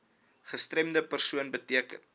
gestremde persoon beteken